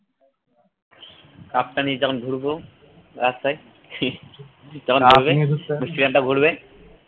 cup নিয়ে যখন ঘুরব রাস্তায় ঘুরবে।